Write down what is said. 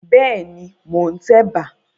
Bẹ́ẹ̀ ni, mò ń tẹ̀bà.